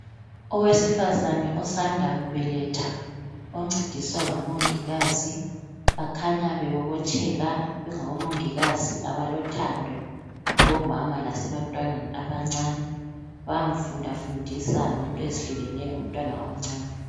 Owesifazane osanda kubeletha oncediswa ngomongikazi, bakhanya bebobotheka bengabomongikazi abalothando kubomama lasebantwaneni abancane bayamfundafundisa ngento ezihlukeneyo ngomntwana omncani.